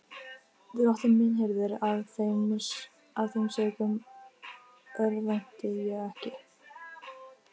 Drottinn er minn hirðir, af þeim sökum örvænti ég ekki.